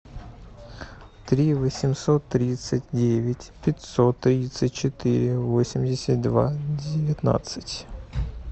три восемьсот тридцать девять пятьсот тридцать четыре восемьдесят два девятнадцать